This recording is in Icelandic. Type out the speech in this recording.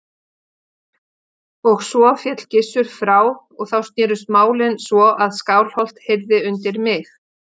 Og svo féll Gizur frá og þá snerust málin svo að Skálholt heyrði undir mig.